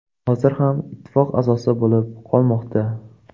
Hozir ham ittifoq a’zosi bo‘lib qolmoqda.